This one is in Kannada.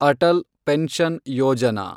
ಅಟಲ್ ಪೆನ್ಷನ್ ಯೋಜನಾ